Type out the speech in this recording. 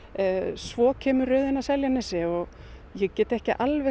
svo kemur röðin að Seljanesi og ég get ekki alveg